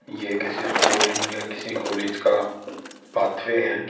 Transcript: ये किसी स्कूल या किसी कॉलेज का पाथवे है।